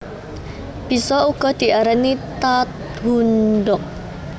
Bisa uga diarani Tahundog